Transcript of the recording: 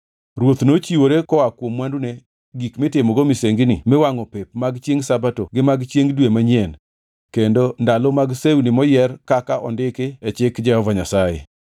Ruoth nochiwore koa kuom mwandune gik mitimogo misengini miwangʼo pep mag chiengʼ Sabato gi mag chiengʼ dwe manyien kendo ndalo mag sewni moyier kaka ondiki e Chik Jehova Nyasaye.